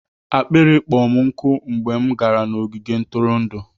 akpịrị kpọrọ m nkụ mgbe m gara n'ogige ntụrụndụ.